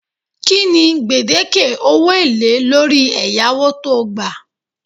Kinni gbedeke owo ele lori eyawo to gba